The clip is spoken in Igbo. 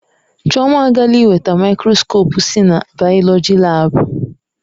Chioma agaala iweta maịkroskopụ si na bayoloji laabu.